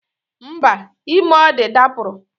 Mba, ime ọ dị dapụrụ